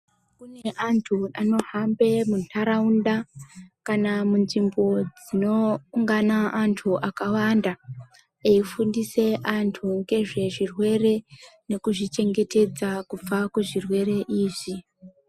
Kune antu anohamba mundaraunda kana munzvimbo dzinoungana antu akawanda eifundisa antu ngezvezvirwere ngekuzvichengetedza kubva kuzvirwere izvi.